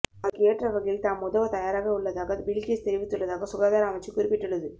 அதற்கு ஏற்ற வகையில் தாம் உதவ தயாராகவுள்ளதாக பில் கேட்ஸ் தெரிவித்துள்ளதாக சுகாதார அமைச்சு குறிப்பிட்டுள்ளது